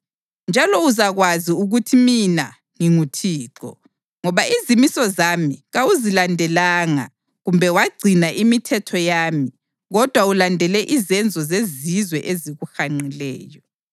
Njalo uzakwazi ukuthi mina nginguThixo, ngoba izimiso zami kawuzilandelanga kumbe wagcina imithetho yami kodwa ulandele izenzo zezizwe ezikuhanqileyo.”